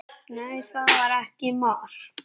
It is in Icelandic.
Nei, það var ekki mark.